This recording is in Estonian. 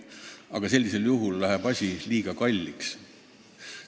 Aga sellisel juhul läheb asi liiga kalliks.